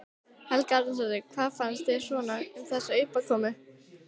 Helga Arnardóttir: Hvað fannst þér svona um þessa uppákomu?